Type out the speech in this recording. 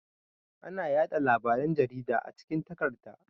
Ana yaɗa labaran jarida a cikin takarda.